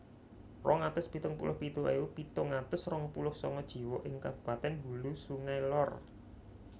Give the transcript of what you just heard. Rong atus pitung puluh pitu ewu pitung atus rong puluh sanga jiwa ing kabupatèn Hulu Sungai Lor